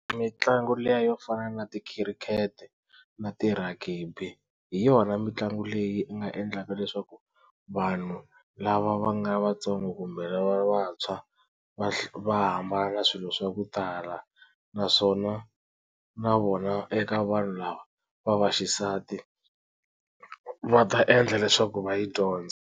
Mitlangu liya yo fana na tikhirikete na ti ragibi hi yona mitlangu leyi nga endlaka leswaku vanhu lava va nga vatsongo kumbe lava vantshwa va va hambana na swilo swa ku tala naswona na vona eka vanhu lava va vaxisati va ta endla leswaku va yi dyondza.